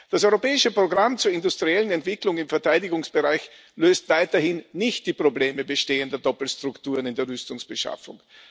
Das Europäische Programm zur industriellen Entwicklung im Verteidigungsbereich löst weiterhin nicht die Probleme bestehender Doppelstrukturen in der Rüstungsbeschaffung.